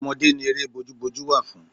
Ọmọdé ni eré bójú bójú wà fún.